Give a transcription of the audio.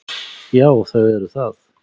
Já, þau eru það.